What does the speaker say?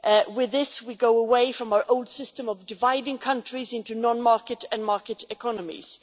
With this, we go away from our old system of dividing countries into non market and market economies.